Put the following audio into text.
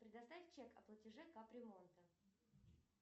предоставь чек о платеже кап ремонта